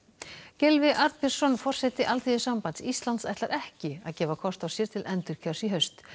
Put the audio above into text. Gylfi Arnbjörnsson forseti Alþýðusambands Íslands ætlar ekki að gefa kost á sér til endurkjörs í haust